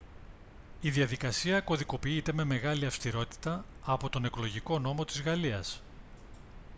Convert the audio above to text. η διαδικασία κωδικοποιείται με μεγάλη αυστηρότητα από τον εκλογικό νόμο της γαλλίας